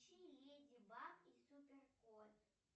включи леди баг и супер кот